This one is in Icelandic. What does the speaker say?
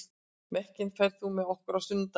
Mekkin, ferð þú með okkur á sunnudaginn?